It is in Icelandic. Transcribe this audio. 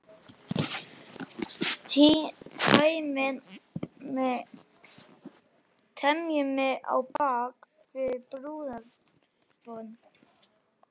Teymir mig á bak við búðarborð.